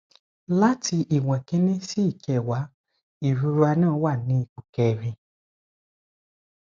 lati iwon kini si ikewa irora na wa ni ipo kerin